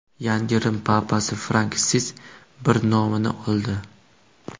Yangi Rim papasi Fransisk I nomini oldi.